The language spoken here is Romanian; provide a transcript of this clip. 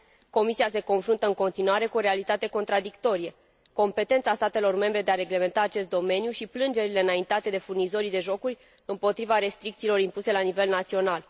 Comisia se confruntă în continuare cu o realitate contradictorie competența statelor membre de a reglementa acest domeniu și plângerile înaintate de furnizorii de jocuri împotriva restricțiilor impuse la nivel național.